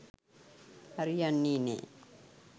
හරි යන්නේ නෑ